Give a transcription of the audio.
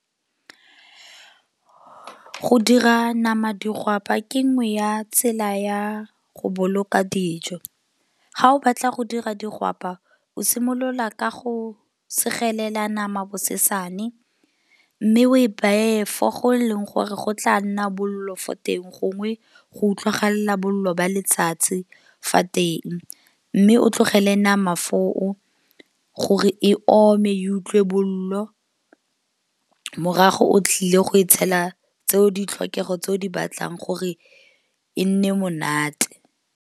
Go dira nama digwapa ke nngwe ya tsela ya go boloka dijo. Ga o batla go dira digwapa o simolola ka go segelela nama bosesane mme o e bate fo go leng gore go tla nna bollo fo teng gongwe go utlwagala bollo ba letsatsi fa teng. Mme o tlogele mana foo gore e ome e utlwe bollo, morago o tlile go e tshela tseo ditlhokego tse o di batlang gore e nne monate.